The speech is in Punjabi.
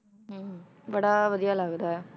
ਬੜਾ ਵਧੀਆ ਲੱਗਦਾ ਹੈ,